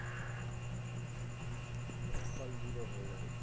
ফল zero হয়ে যাবে গিয়ে।